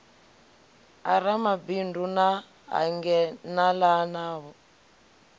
ya ramabindu na hangenalano ya